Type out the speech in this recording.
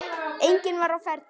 Enginn var á ferli.